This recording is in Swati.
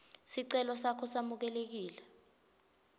sicelo sakho samukelekile